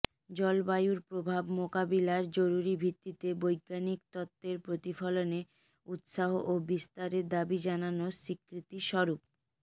জলবায়ুর প্রভাব মোকাবিলায় জরুরি ভিত্তিতে বৈজ্ঞানিক তত্ত্বের প্রতিফলনে উৎসাহ ও বিস্তারের দাবি জানানোর স্বীকৃতিস্বরূপ